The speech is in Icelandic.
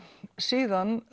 síðan